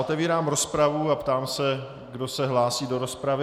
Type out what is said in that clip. Otevírám rozpravu a ptám se, kdo se hlásí do rozpravy.